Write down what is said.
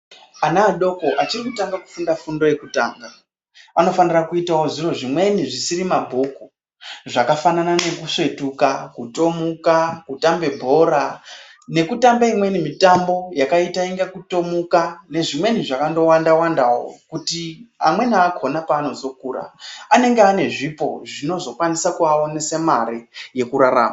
Ana adoko achiri kutanga kufunda fundo yekutanga anofanira kuitawo zviro zvimweni zvisiri mabhuku zvakafanana nekusvetuka, kutomuka, kutambe bhora nekutambe imweni mitambo yakaita unga kutomuka nezvimweni zvakangowanda-wandawo kuti amweni akhona paanozokura anenge ane zvipo zvinozokwanisa kuawanise mare yekurarama.